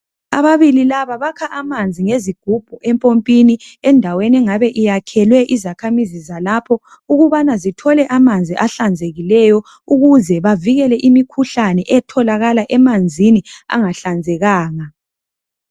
Ababili laba bakha amanzi ngezigubhu empompini endaweni engabe iyakhelwe izakhamizi zalapho ukubana zithole amanzi ahlanzekileyo ukuze bavikele imikhuhlane etholakala emanzini angahlanzekanga.